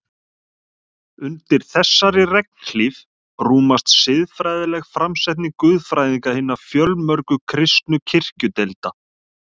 Undir þessari regnhlíf rúmast siðfræðileg framsetning guðfræðinga hinna fjölmörgu kristnu kirkjudeilda.